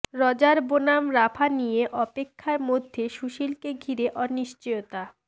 Roger বনাম Rafa নিয়ে অপেক্ষার মধ্যে সুশীলকে ঘিরে অনিশ্চয়তা